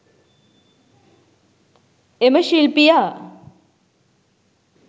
එම ශිල්පියා